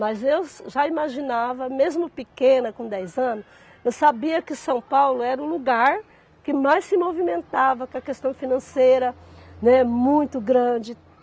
Mas eu já imaginava, mesmo pequena, com dez anos, eu sabia que São Paulo era o lugar que mais se movimentava com a questão financeira, né, muito grande.